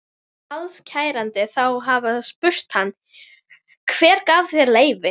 Kvaðst kærandi þá hafa spurt hann: Hver gaf þér leyfi?